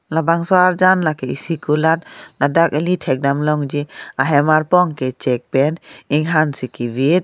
labangso arjan lake isi kulat ladak eli thek dam longji ahem arpong ke chek pen inghan si kevit.